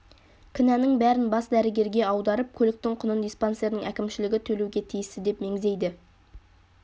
кінәнің бәрін бас дәрігерге аударып көліктің құнын диспансердің әкімшілігі төлеуге тиісті деп меңзейді